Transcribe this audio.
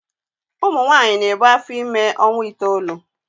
Ụmụ nwanyị na-ebu afọ ime ọnwa itoolu.